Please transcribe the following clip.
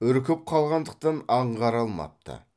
үркіп қалғандықтан аңғара алмапты